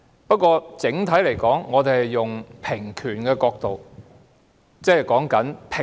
不過，整體而言，我們是以平權的角度出發的。